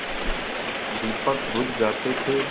दीपक बुझ जाते थे